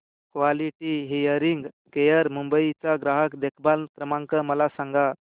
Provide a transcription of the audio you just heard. quality hearing care Mumbai चा ग्राहक देखभाल क्रमांक मला सांगा